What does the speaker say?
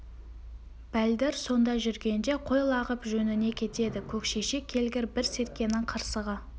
бәлдір сонда жүргенде қой лағып жөніне кетеді көкшешек келгір бір серкенің қырсығы